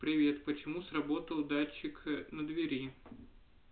привет почему сработал датчик на двери